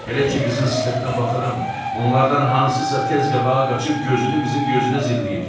Elə ki qızın sifətinə baxıram, onlardan hansısa tez qabağa qaçıb gözünü qızın gözünə zilləyir.